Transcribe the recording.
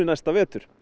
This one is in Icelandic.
vetur